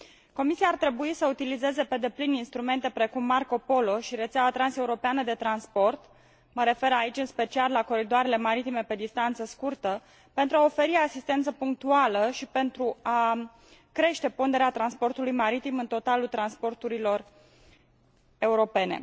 Comisia ar trebui să utilizeze pe deplin instrumente precum Marco Polo și rețeaua transeuropeană de transport mă refer aici în special la coridoarele maritime pe distanță scurtă pentru a oferi asistență punctuală și pentru a crește ponderea transportului maritim în totalul transporturilor europene.